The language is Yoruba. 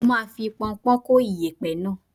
Mo máa fi pọnpọ́ń kó iyẹ̀pẹ̀ náà.